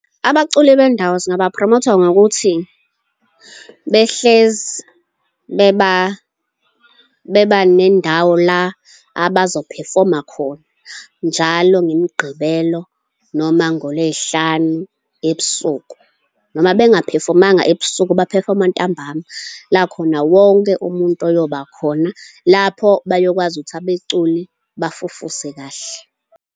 Abaculi bendawo singabaphromotha ngokuthi behlezi beba beba nendawo la abazophefoma khona, njalo ngeMgqibelo noma ngoLwey'hlanu ebusuku. Noma benga-phefomanga ebusuku, baphefoma ntambama, la khona wonke umuntu eyoba khona, lapho bayokwazi ukuthi abeculi bafufuse kahle.